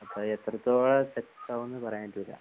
അത് എത്രത്തോളം സക്സസ്സ് ആവുന്ന് പറയാൻ പറ്റില്ല.